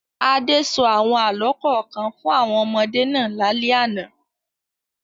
Adé sọ àwọn àlọ́ kọ̀ọ̀kan fún àwọn ọmọdé náà lálẹ́ àná.